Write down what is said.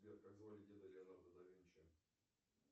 сбер как звали деда леонардо да винчи